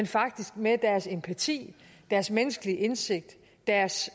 faktisk med deres empati deres menneskelige indsigt deres